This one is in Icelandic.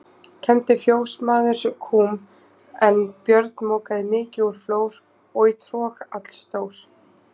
Kembdi fjósamaður kúm, en Björn mokaði mykju úr flór og í trog allstór.